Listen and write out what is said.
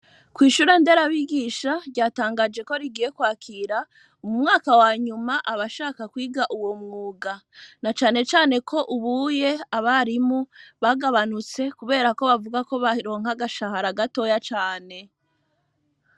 Kw’ishure Nderabigisha, ryatangaje ko, rigiye kwakira, mu mwaka wa nyuma, abashaka kwiga, uwo mwuga; na cane cane ko, ubuye abarimu bagabanutse, kubera ko, bavuga ko, baronka agashahara, gatoya cane.